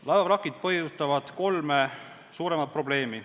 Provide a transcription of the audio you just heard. Laevavrakid põhjustavad kolme suuremat probleemi.